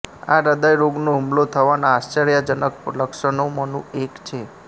આ હૃદય રોગનો હુમલો થવાનાં આશ્ચર્યજનક લક્ષણોમાનું એક છે